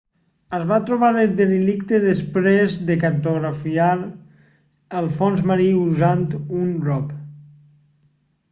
es va trobar el derelicte després de cartografiar el fons marí usant un rov